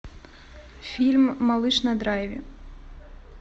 фильм малыш на драйве